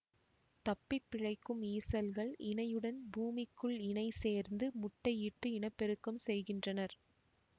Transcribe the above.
தப்பிப்பிழைக்கும் ஈசல்கள் இணையுடன் பூமிக்குள் இணை சேர்ந்து முட்டை இட்டு இனப்பெருக்கம் செய்கின்றனர்